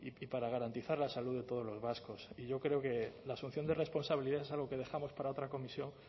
y para garantizar la salud de todos los vascos y yo creo que la asunción de responsabilidad es algo que dejamos para otra comisión